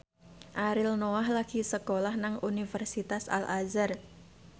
Ariel Noah lagi sekolah nang Universitas Al Azhar